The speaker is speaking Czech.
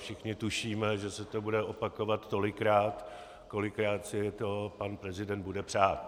Všichni tušíme, že se to bude opakovat tolikrát, kolikrát si to pan prezident bude přát.